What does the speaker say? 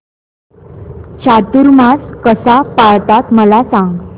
चातुर्मास कसा पाळतात मला सांग